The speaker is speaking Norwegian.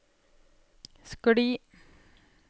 skli